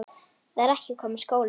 Það er kominn skóli.